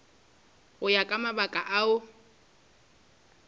go ya ka mabaka ao